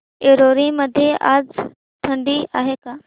ऐरोली मध्ये आज थंडी आहे का